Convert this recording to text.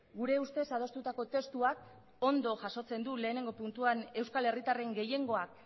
gure ustez adostutako testuak ondo jasotzen du lehenengo puntuan euskal herritarren gehiengoak